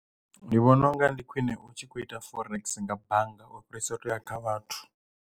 Ndi vhona unga ndi khwine utshi kho ita forex nga bannga ufhirisa u to ya kha vhathu.